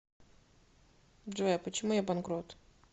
джой а почему я банкрот